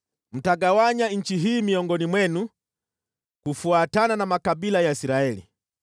“Mtagawanya nchi hii miongoni mwenu kufuatana na makabila ya Israeli.